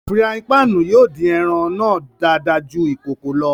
Firàyin pạạnu yóò din ẹran náa dàada jù ikòkò lọ.